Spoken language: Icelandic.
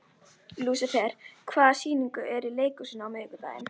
Lúsifer, hvaða sýningar eru í leikhúsinu á miðvikudaginn?